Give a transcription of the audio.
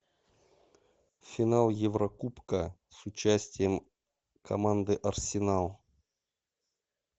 финал еврокубка с участием команды арсенал